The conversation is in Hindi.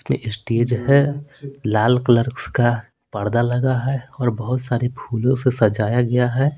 में स्टेज है लाल कलर का पर्दा लगा है और बहुत सारे फूलों से सजाया गया है।